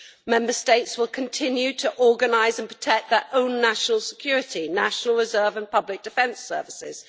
Member States will continue to organise and protect their own national security, national reserve and public defence services.